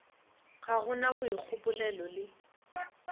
ga go na boikgopolelo le